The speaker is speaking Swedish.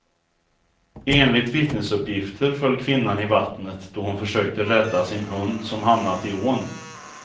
Enligt vittnesuppgifter föll kvinnan i vattnet då hon försökte rädda sin hund som hamnat i ån.